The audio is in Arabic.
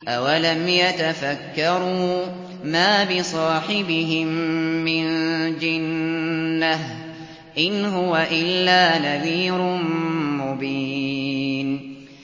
أَوَلَمْ يَتَفَكَّرُوا ۗ مَا بِصَاحِبِهِم مِّن جِنَّةٍ ۚ إِنْ هُوَ إِلَّا نَذِيرٌ مُّبِينٌ